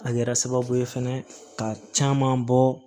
A kɛra sababu ye fɛnɛ ka caman bɔ